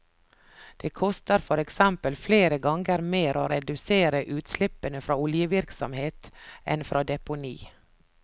Det koster for eksempel flere ganger mer å redusere utslippene fra oljevirksomhet, enn fra deponi.